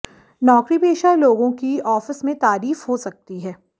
नौकरीपेशा लोगों की आफिस में तारीफ हो सकती है